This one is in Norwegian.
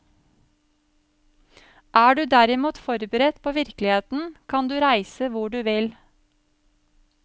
Er du derimot forberedt på virkeligheten kan du reise hvor du vil.